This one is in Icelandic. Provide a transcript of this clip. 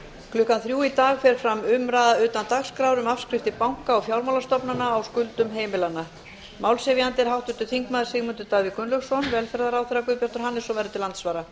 klukkan þrjú í dag fer fram umræða utan dagskrár um afskriftir banka og fjármálastofnana á skuldum heimilanna málshefjandi er háttvirtur þingmaður sigmundur davíð gunnlaugsson velferðarráðherra guðbjartur hannesson verður til andsvara